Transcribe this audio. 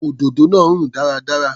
Òdòdó náà rùn dáradára.